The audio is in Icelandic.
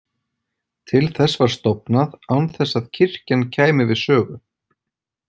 Til þess var stofnað án þess að kirkjan kæmi við sögu.